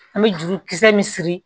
An bɛ jurukisɛ min siri